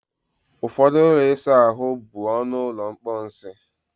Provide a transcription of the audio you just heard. Ụfọdụ ụlọ ịsa ahụ bụ ọnụ ụlọ mposi